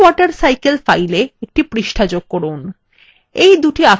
mywatercycle file a একটি পৃষ্ঠা যোগ করুন